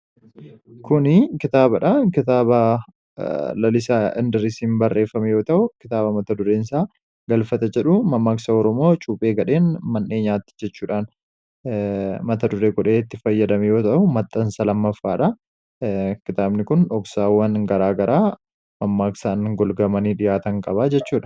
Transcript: Kuni kitaabadha. Kitaaba lalisaa indirisiin barreeffame yoo ta'u kitaaba mata dureensaa galfata jedhu mammaaksa Oromoo cuuphee gadheen mannee nyaatti jechuudhaan mata dure godheetti fayyadame yoo ta'u maxxansa lammaffaadha. Kitaabni kun dhoksaawwan garaa garaa mammaaksaan golgamanii dhihaatan qabaa jechuudha.